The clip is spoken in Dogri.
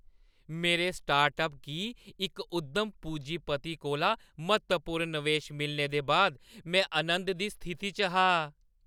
मेरे स्टार्टअप गी इक उद्यम पूजीपति कोला म्हत्तवपूर्ण नवेश मिलने दे बाद में आनंद दी स्थिति च हा।